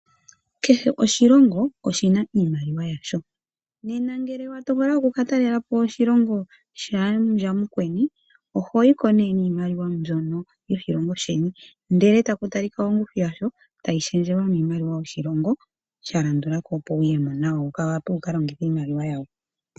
Kehe oshilongo oshi na iimaliwa yasho. Ngele wa tokola oku ka talela po oshilongo shaandjawo mukweni, oho yi ko niimaliwa mbyono yoshilongo shaandjeni, ndele taku talika ongushu yasho, tayi shendjelwa miimaliwa yoshilongo sha landula ko opo wu ye mo nayo wu wape wu ka longithe iimaliwa yoshilongo shawo.